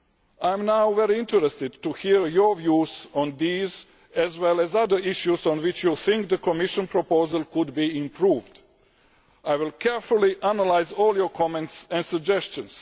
I will now be very interested to hear your views on these as well as other issues on which you think the Commission proposal could be improved. I will carefully analyse all your comments and suggestions.